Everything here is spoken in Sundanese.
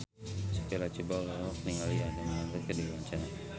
Sophia Latjuba olohok ningali Adam Lambert keur diwawancara